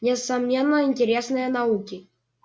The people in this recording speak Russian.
несомненно интересные науки